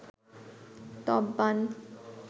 তপ বাণ